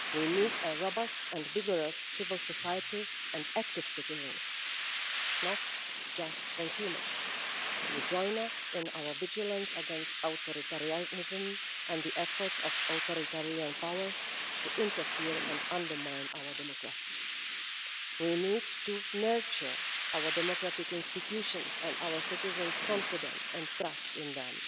We need a robust and vigorous civil society and active citizens not just consumers to join us in our vigilance against authoritarianism and the efforts of authoritarian powers to interfere in and undermine our democracies. We need to nurture our democratic institutions and our citizens' confidence and trust in them,